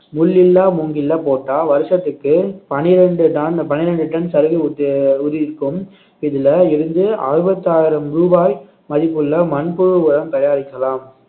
முள் இல்லா மூங்கில்ல போட்டா வருஷத்துக்கு பனிரெண்டு டன் பனிரெண்டு டன் சருகு உதி~ உதிர்க்கும் இதுல இருந்து அறுபத்தி ஆறாயிரம் ரூபாய் மதிப்புள்ள மண்புழு உரம் தயாரிக்கலாம்